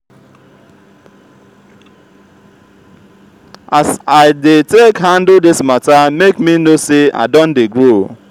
as i dey take handle dis mata make me know sey i don dey grow.